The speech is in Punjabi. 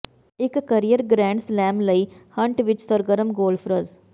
ਇੱਕ ਕਰੀਅਰ ਗ੍ਰੈਂਡ ਸਲੈਂਮ ਲਈ ਹੰਟ ਵਿੱਚ ਸਰਗਰਮ ਗੌਲਫਰਜ਼